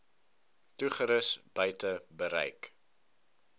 toerusting buite bereik